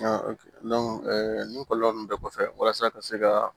nin kɔlɔlɔ ninnu bɛɛ kɔfɛ walasa ka se ka